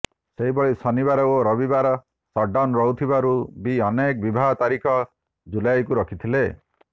ସେହିଭଳି ଶନିବାର ଓ ରବିବାର ସଟ୍ଡାଉନ୍ ରହୁଥିବାରୁ ବି ଅନେକ ବିବାହ ତାରିଖ ଜୁଲାଇକୁ ରଖିଥିଲେ